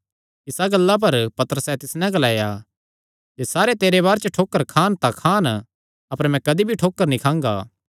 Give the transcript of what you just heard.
इसा गल्ला पर पतरसैं तिस नैं ग्लाया जे सारे तेरे बारे च ठोकर खान तां खान अपर मैं कदी भी ठोकर नीं खांगा